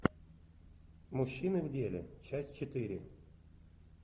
мужчины в деле часть четыре